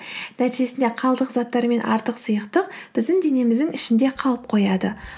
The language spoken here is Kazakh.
нәтижесінде қалдық заттар мен артық сұйықтық біздің денеміздің ішінде қалып қояды